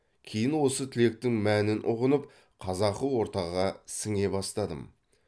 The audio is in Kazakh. кейін осы тілектің мәнін ұғынып қазақы ортаға сіңе бастадым